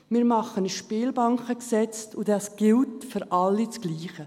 Wir machen ein Spielbankengesetz, und das gilt für alle gleich.